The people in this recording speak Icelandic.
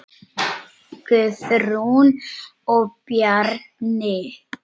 Guðrún og Bjarni.